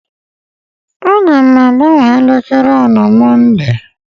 Aga m agbanwe elekere a na Mọnde